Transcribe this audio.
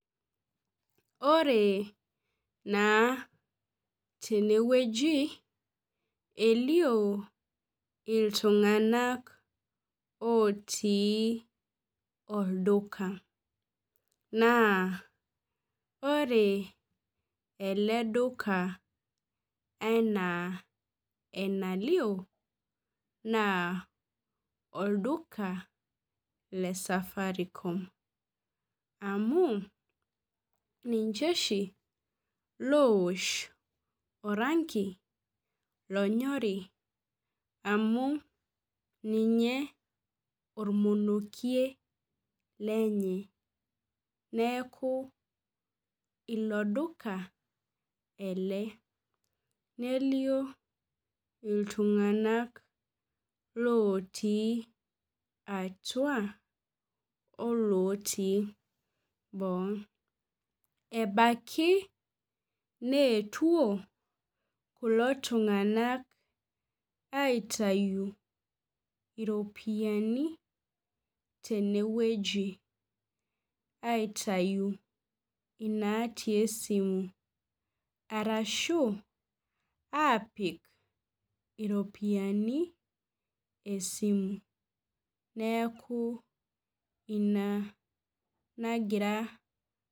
Ore naa tenewueji , elio iltunganak otii olduka naa ore eleduka enaa enalio naa olduka lesafaricom amu ninche oshi lowosh oranki lonyori amu ninye ormonokie lenye neku ilo dulka ele , nelio iltunganak otii atua , olootii boo. Ebaiki neetuo kulo tunganak aitayu ropiyiani tenewueji , aitayu inatii esimu ,arashu apik iropiyiani esimu neku ina nagira aasa.